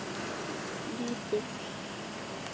Hans lítill.